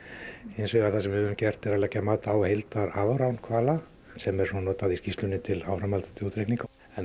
hins vegar það sem við höfum gert er að leggja mat á hvala sem er svo notað í skýrslunni til áframhaldandi útreikninga en